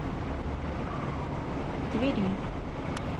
твери